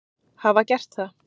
hafa gert það.